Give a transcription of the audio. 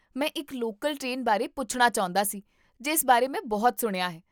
ਮੈਂ ਇੱਕ local train ਬਾਰੇ ਪੁੱਛਣਾ ਚਾਹੁੰਦਾ ਸੀ ਜਿਸ ਬਾਰੇ ਮੈਂ ਬਹੁਤ ਸੁਣਿਆ ਹੈ